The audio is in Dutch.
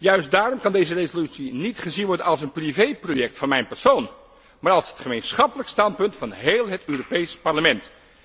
Juist daarom moet deze resolutie niet gezien worden als een privéproject van mij, maar als het gemeenschappelijk standpunt van heel het Europees Parlement.